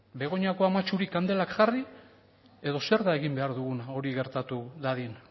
begoñako amatxuri kandelak jarri edo zer da egin behar duguna hori gertatu dadin